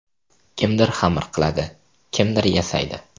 Kimdir xamir qiladi, kimdir yasaydi.